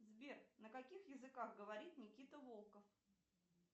сбер на каких языках говорит никита волков